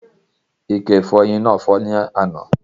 Ike igi ifọyín náà fọ́ ni àná